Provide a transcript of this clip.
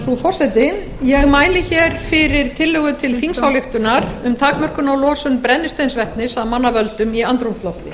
frú forseti ég mæli fyrir tillögu til þingsályktunar um takmörkun á losun brennisteinsvetnis af manna völdum í andrúmslofti